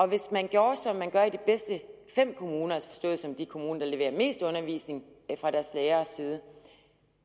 hvis man gjorde som man gør i de bedste fem kommuner forstået som de kommuner der leverer mest undervisning fra deres læreres side